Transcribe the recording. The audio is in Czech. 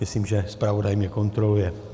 Myslím, že zpravodaj mě kontroluje.